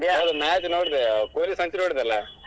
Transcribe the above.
Match ನೋಡಿದೆ Kohli century ಹೊಡದಾಲಾ.